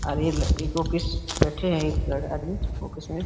अरे बैठे हैं। एक आदमी फोकस में --